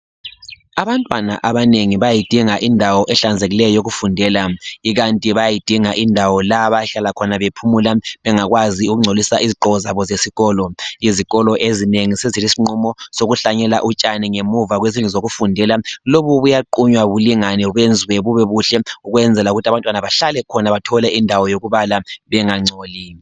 Abantwana abanengi bayayidinga indawo ehlanzekileyo yokufundela. Ikanti bayayidinga indawo la abayahlala khona bephumula bengakwazi ukungcolisa izigqoko zabo zesikolo. Izikolo ezinengi sezilesinqumo sokuhlanyela utshani ngemva kwezindlu zokufundela. Lobu buyaqunywa bulingane benziwe bubebuhle ukwenzela ukuthi abantwana bahlale khona bathole indawo yokubala bengangcoli.